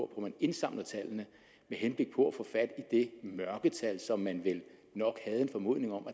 man indsamler tallene med henblik på at få fat i det mørketal som man vel nok havde en formodning om